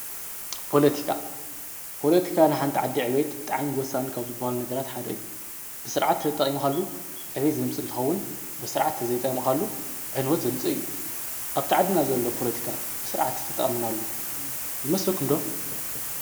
ጶለቲካ ጶለቲካ ንሓንቲ ዓዲ ዕቤት ብጥዓንጐሳን ከብ ዝብሃል ነገራት ሓደ እዩ ብሥርዓት እተጠምኻሉ ዕቤት ዘምፂ እንትኸውን ብሥርዓት ዘይጠምኻሉ ዕንወት ዘምፂእ እዩ ኣብታዓድና ዘሎ ጶለቲካ ብሥርዓት እተጠምናሉ ይመስልኩምዶ።